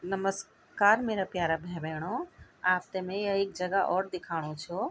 नमस्कार मेरा प्यारा भे-भेणाे आपते में एक जगह और दिखाणु छों।